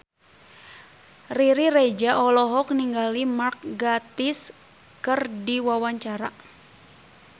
Riri Reza olohok ningali Mark Gatiss keur diwawancara